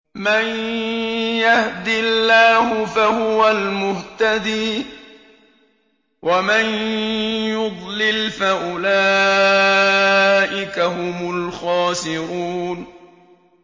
مَن يَهْدِ اللَّهُ فَهُوَ الْمُهْتَدِي ۖ وَمَن يُضْلِلْ فَأُولَٰئِكَ هُمُ الْخَاسِرُونَ